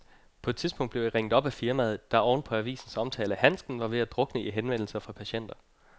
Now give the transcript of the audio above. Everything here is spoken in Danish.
På et tidspunkt blev jeg ringet op af firmaet, der oven på avisens omtale af handsken var ved at drukne i henvendelser fra patienter.